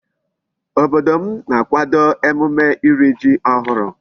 Obodo m na-akwado emume iri Ji ohuru